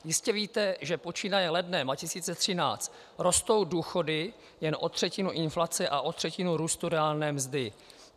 Jistě víte, že počínaje lednem 2013 rostou důchody jen o třetinu inflace a o třetinu růstu reálné mzdy.